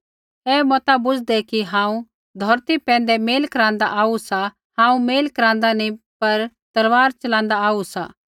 ऐ मता बूझ़दै कि हांऊँ धौरती पैंधै मेल करांदा आऊ सा हांऊँ मेल करांदा नी पर तलवार च़लांदा आऊ सा